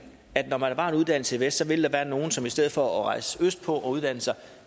at når der var en uddannelse i vest vil der være nogle som i stedet for at rejse østpå og uddanne sig